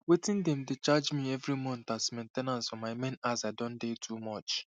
wetin dem dey charge me every month as main ten ance for my main aza don dey too much